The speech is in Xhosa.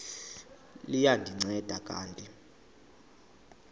liya ndinceda kanti